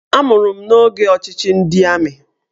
Amụrụ m n'oge ọchịchị ndị amị